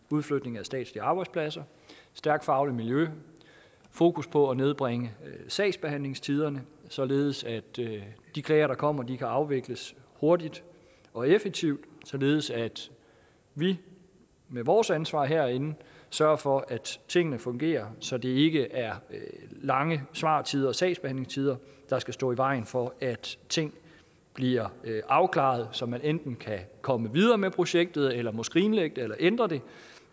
udflytning af statslige arbejdspladser stærkt fagligt miljø fokus på at nedbringe sagsbehandlingstiderne således at de de klager der kommer kan afvikles hurtigt og effektivt således at vi med vores ansvar herinde sørger for at tingene fungerer så det ikke er lange svartider og sagsbehandlingstider der skal stå i vejen for at ting bliver afklaret så man enten kan komme videre med projektet eller må skrinlægge det eller ændre det